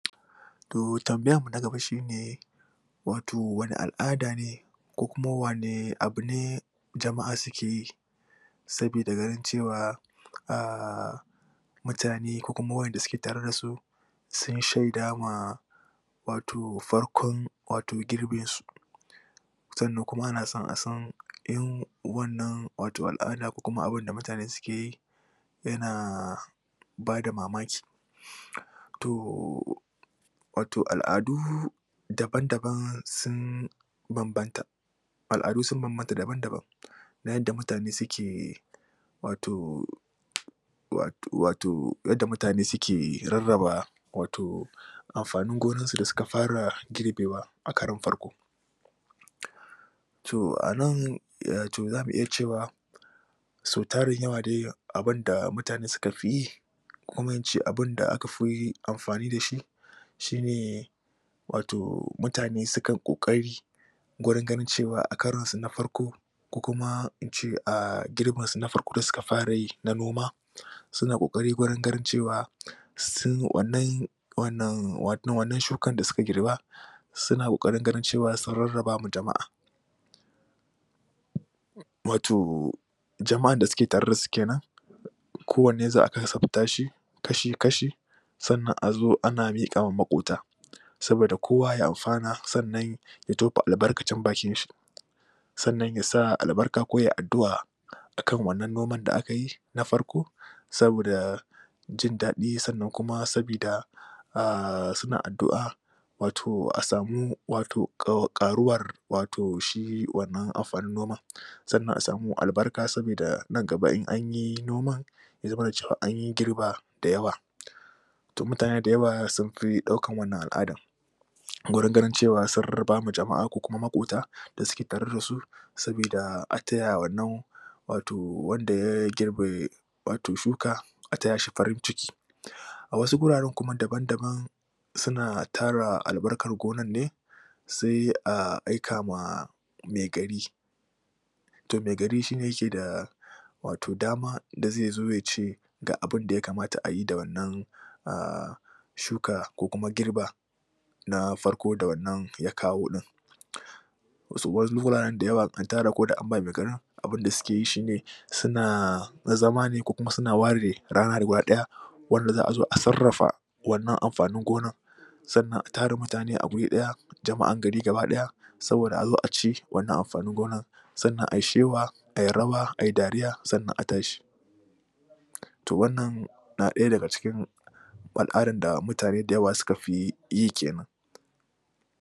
To tambayarmu na gaba shi ne wato wane al'aada ne ko kuma wane abu ne jama'a suke yi sabida ganin cewa a mutane ko kuma waɗanda suke tare da su sun shaida ma wato farkon wato girbinsu sannan kuma ana son a san in wanna al'ada ko kuma abin da mutane suke yi yana ba da mamaki to wato al'adu dabam-daban banbanta al'adu sun bambanta dam-daban na yadda mutane suke wato wato wato yadda mutane suke rarraba wato amfanin gonarsu da suka fara girbewa a karon farko. to a nan za mu iya cewa sau tarin yawa dai abin da mutane suka fi yi ko in ce abin da aka amfani da shi shi ne wato mutane sukan ƙoƙari guringanin cewa a karonsu na farko ko kuma in ce a girbinsu na farko da suka fara yi na noma suna ƙoƙari wajen ganin cewa sun wannan shukar da suka girba suna ƙoƙarin ganin cewa sun rarraba ma jama'a. wato jama'an da suke tare da su ke nan kowanne za a kasafta shi kashi-kashi sannan a zo a na miƙa wa maƙota saboda kowa ya amfana sannan ya tofa albarkacin bakinshi. sannan ya sa albarka ko ya yi addu'a a kan wannan noman da aka yi na farko saboda jin daɗi sannan kuma saboda a suna addu'a wato asamu wato ƙaruwar wato shi wannan amfanin noman. sannan a sami albarka saboda nan gaba in an yi noman ya zamana cewa an yi girba da yawa. to mutane da yawa sun fi ɗaukar wanna al'adar wurin ganin cewa sun ba ma jama'a ko maƙota da suke tare da su saboda taya wannan wato wanda ya girbe wato shuka a taya shi farin ciki A wasu guraren kuma dabam-daban suna tara albarkar gonar ne, sai a aika ma maigari to maigari shi ne yake da wato dama da zai zo ya ce ga abun da ya kamata a yi da wannan da shuka ko kuam girba na farko da wannan ya kawo ɗin wasu guraren da yawa ko da antara an ba maigarin abin da suke yi shi ne suna zama ne ko suna ware reana ne guda ɗaya wanda za a zo a sarrafa wannan noman sannan a tara mutane a guri ɗaya jama'an gar gaba ɗaya saboda a zo a ci wannan amfanin gonar sannan ai shewa ai rawa a yi dariya sannan a tashi to wannan na ɗaya daga cikin al'adan da mutane da yawa suka fi yi ke nan.